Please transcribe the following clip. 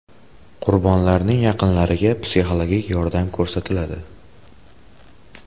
Qurbonlarning yaqinlariga psixologik yordam ko‘rsatiladi.